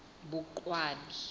boqwabi